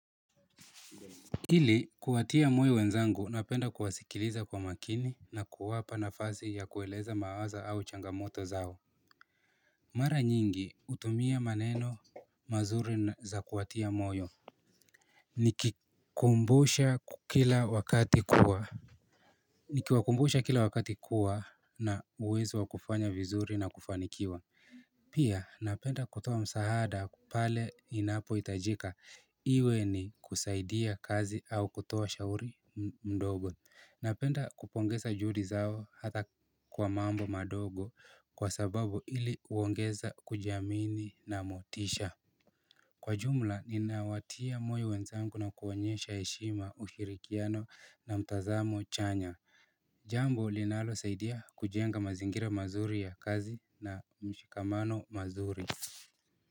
Ili kuwatia moyo wenzangu napenda kuwasikiliza kwa makini na kuwapa nafasi ya kueleza mawazo au changamoto zao Mara nyingi utumia maneno mazuri za kuwatia moyo Nikikumbusha kila wakati kuwa Nikiwakumbusha kila wakati kuwa na uwezo wa kufanya vizuri na kufanikiwa Pia napenda kutuoa msahada pale inapoitajika iwe ni kusaidia kazi au kutoa shauri mdogo Napenda kupongeza judi zao hata kwa mambo madogo kwa sababu ili uongeza kujiamini na motisha Kwa jumla ninawatia moyo wenzangu na kuonyesha heshima ushirikiano na mtazamo chanya Jambo linalosaidia kujenga mazingira mazuri ya kazi na mshikamano mazuri.